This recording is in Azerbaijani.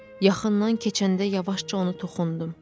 Yaxından keçəndə yavaşca onu toxundum.